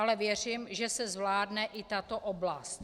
Ale věřím, že se zvládne i tato oblast.